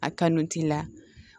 A kanu t'i la